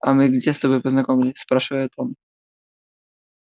а мы где с тобой познакомились спрашивает он